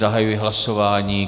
Zahajuji hlasování.